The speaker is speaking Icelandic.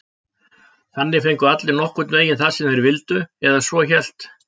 Þannig fengju allir nokkurn veginn það sem þeir vildu, eða svo hélt